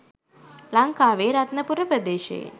ලං‍කාවේ රත්නපුර ප්‍රදේශයෙන්